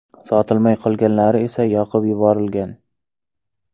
Sotilmay qolganlari esa yoqib yuborilgan.